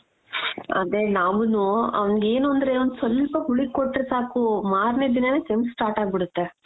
ಅದೇ ನಾವೂನು ಅವ್ನಿಗ್ ಏನು ಅಂದ್ರೆ ಒಂದ್ ಸ್ವಲ್ಪ ಹುಳಿ ಕೊಟ್ರೆ ಸಾಕು ಮಾರ್ನೆ ದಿನಾನೇ ಕೆಮ್ಮು start ಅಗ್ಬಿಡತ್ತೆ.